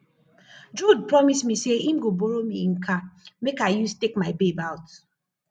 jude promise me say im go borrow me im car make i use take my babe out